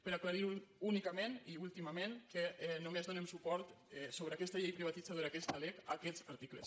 per aclarir únicament i últimament que només donem suport sobre aquesta llei privatitzadora aquesta lec a aquests articles